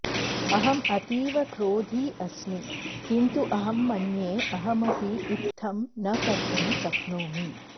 अहं अतीवक्रोधी अस्मि किन्तु अहं मन्ये अहमपि इत्थं न कर्तुं शक्नोमि